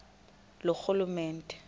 loorhulumente